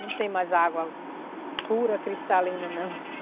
Não tem mais água pura, cristalina não.